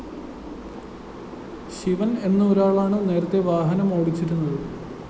ശിവന്‍ എന്നൊരാളാണു നേരത്തെ വാഹനം ഓടിച്ചിരുന്നത്